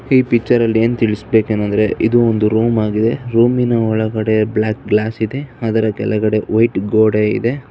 ಈ ಪಿಕ್ಚರ್ ಅಲ್ಲಿ ಏನ್ ತಿಳಿಸಬೇಕ ಏನಂದ್ರೆ ಇದು ರೂಮ್ ಆಗಿದೆ ರೂಮ್ ಇನ ಒಳಗಡೆ ಬ್ಲಾಕ್ ಗ್ಲಾಸ್ ಇದೆ ಅದರ ಕೆಳಗಡೆ ವೈಟ್ ಗೋಡೆ ಇದೆ.